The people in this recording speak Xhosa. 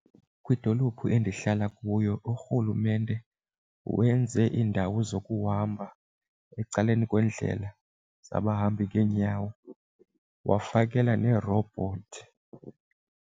Kwidolophu endihlala kuyo urhulumente wenze indawo zokuhamba ecaleni kwendlela zabahambi ngeenyawo wafakela neerobhothi.